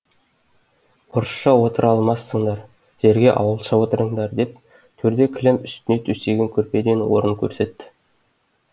орысша отыра алмассыңдар жерге ауылша отырыңдар деп төрде кілем үстіне төсеген көрпеден орын көрсетті